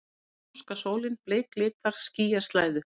Spánska sólin bleiklitar skýjaslæðu.